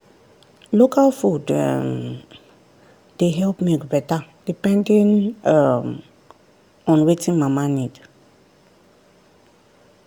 local food um dey help milk better depending um on wetin mama need.